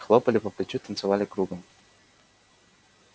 хлопали по плечу танцевали кругом